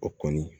O kɔni